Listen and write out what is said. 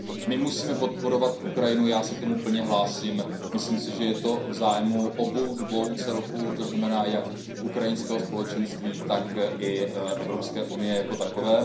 My musíme podporovat Ukrajinu, já se k tomu plně hlásím, myslím si, že je to v zájmu obou dvou celků, to znamená jak ukrajinského společenství, tak i Evropské unie jako takové.